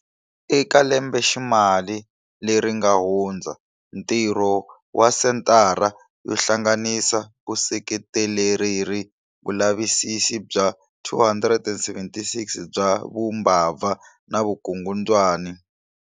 Eka lembeximali leri nga hundza, ntirho wa Senthara yo Hlanganisa ku seketelereli vulavisisi bya 276 bya vu mbabva na vukungundzwa na.